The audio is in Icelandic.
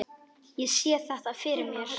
Ég sé þetta fyrir mér.